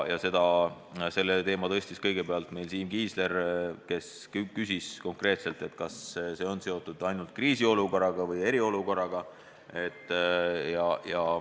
Selle teema tõstis kõigepealt üles Siim Kiisler, kes küsis konkreetselt, kas see on seotud ainult kriisiolukorraga või eriolukorraga.